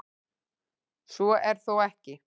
Svo er þó ekki.